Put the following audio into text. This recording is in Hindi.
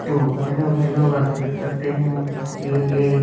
तो हेलो हेलो आप देख सकते है ये एक--